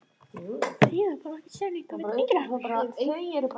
Kennari: Jæja, þá hafið þér það.